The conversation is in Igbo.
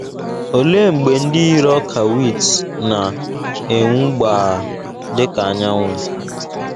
Olee mgbe ndị yiri ọka wit ‘ na - enwu gbaa dị ka anyanwụ ’?